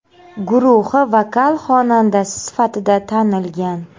guruhi vokal xonandasi sifatida tanilgan.